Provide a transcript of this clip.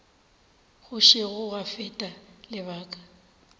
go sešo gwa feta lebaka